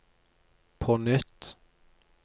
på nytt